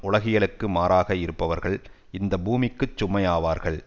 உலகியலுக்கு மாறாக இருப்பவர்கள் இந்த பூமிக்கு சுமையாவார்கள்